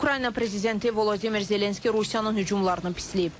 Ukrayna prezidenti Volodimir Zelenski Rusiyanın hücumlarını pisləyib.